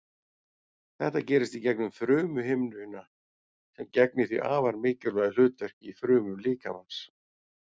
Þetta gerist í gegnum frumuhimnuna sem gegnir því afar mikilvægu hlutverki í frumum líkamans.